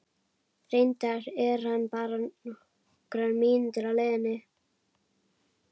Reyndar er hann bara nokkrar mínútur á leiðinni.